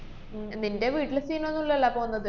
ഹും നിന്‍റെ വീട്ടില് scene ഒന്നൂല്ലാല്ലാ പോവുന്നത്?